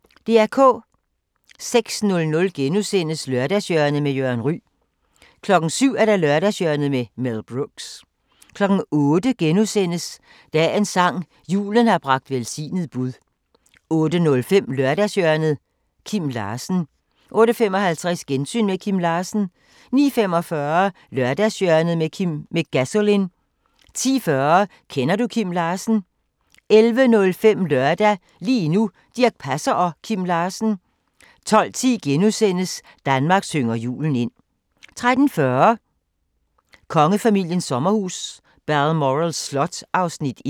06:00: Lørdagshjørnet med Jørgen Ryg * 07:00: Lørdagshjørnet med Mel Brooks 08:00: Dagens sang: Julen har bragt velsignet bud * 08:05: Lørdagshjørnet – Kim Larsen 08:55: Gensyn med Kim Larsen 09:45: Lørdagshjørnet med Gasolin 10:40: Kender du Kim Larsen? 11:05: Lørdag – lige nu: Dirch Passer og Kim Larsen 12:10: Danmark synger julen ind * 13:40: Kongefamiliens sommerhus – Balmoral Slot (Afs. 1)